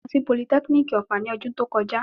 Mo lọ sí politẹ́kínìkì ọ̀fà ní ọdún tó kọjá.